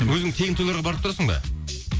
өзің тегін тойларға барып тұрасың ба